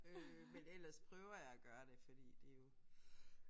Øh men ellers prøver jeg at gøre det fordi det er jo